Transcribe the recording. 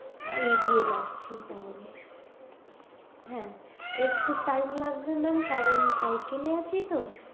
হা এগিয়ে যাচ্ছি তাহলে হ্যা একটু time লাগবে mam কারণ cycle এ আছি তো